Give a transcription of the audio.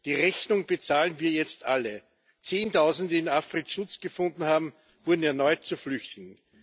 Die Rechnung bezahlen wir jetzt alle Zehntausende, die in Afrin Schutz gefunden hatten, wurden erneut zu Flüchtenden.